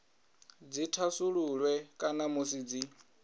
dzi thasululwe kana musi dzi